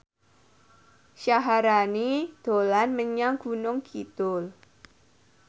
Syaharani dolan menyang Gunung Kidul